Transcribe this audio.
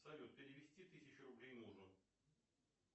салют перевести тысячу рублей мужу